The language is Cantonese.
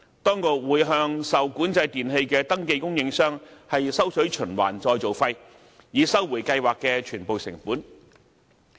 當局會向受管制電器的登記供應商收取循環再造費，以收回計劃的全部成本。